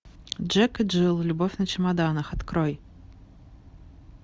джек и джилл любовь на чемоданах открой